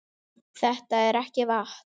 Þetta er ekki vatn!